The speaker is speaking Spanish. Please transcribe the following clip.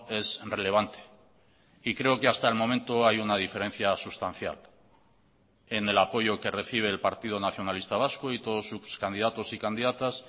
es relevante y creo que hasta el momento hay una diferencia sustancial en el apoyo que recibe el partido nacionalista vasco y todos sus candidatos y candidatas